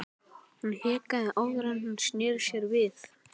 Hún hikaði áður en hún sneri sér við.